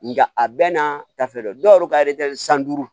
Nga a bɛ n'a ta fɛ dɛ dɔw yɛrɛ ka san duuru